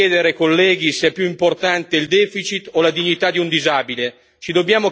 Ci dobbiamo chiedere, colleghi, se è più importante il deficit o la dignità di un disabile.